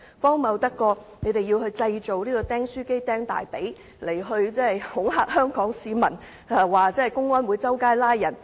荒謬得過他們製造"釘書機釘大腿"來恐嚇香港市民，指公安會到處拘捕人？